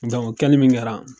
o kɛli min kɛra